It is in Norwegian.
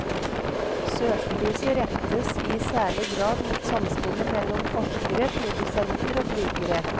Søkelyset rettes i særlig grad mot samspillet mellom forskere, produsenter og brukere.